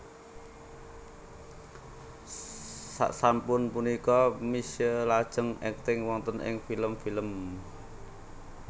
Sasampun punika Misye lajeng akting wonten ing film film